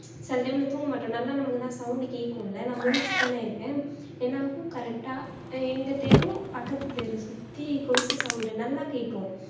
சில time ல தூங்க மாட்டோம் நல்லா நமக்கு தான் sound கேக்கும்ல நான் முழிச்சு தானே இருப்பேன் என்னாகும் correct ஆ எங்க தெரு பக்கத்து தெரு சுத்தி கொலுசு sound நல்லா கேக்கும்